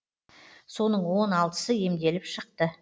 соның он алтысы емделіп шықты